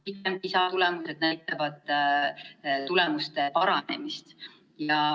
Kõik PISA testid näitavad tulemuste paranemist.